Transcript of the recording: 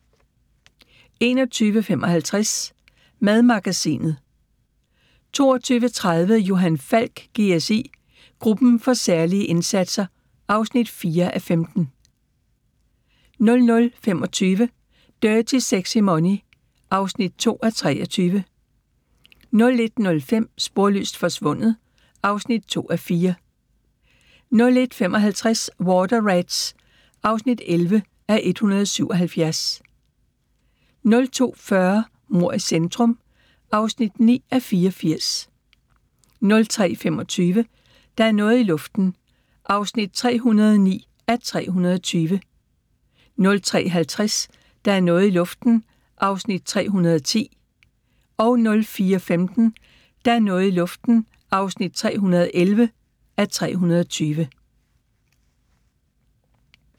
21:55: Madmagasinet 22:30: Johan Falk: GSI – Gruppen for særlige indsatser (4:15) 00:25: Dirty Sexy Money (2:23) 01:05: Sporløst forsvundet (2:4) 01:55: Water Rats (11:177) 02:40: Mord i centrum (9:84) 03:25: Der er noget i luften (309:320) 03:50: Der er noget i luften (310:320) 04:15: Der er noget i luften (311:320)